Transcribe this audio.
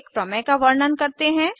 एक प्रमेय का वर्णन करते हैं